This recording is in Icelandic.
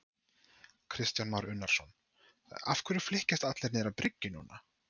Kristján Már Unnarsson: Af hverju flykkjast allir niður á bryggju núna?